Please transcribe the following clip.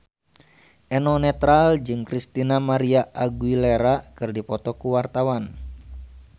Eno Netral jeung Christina María Aguilera keur dipoto ku wartawan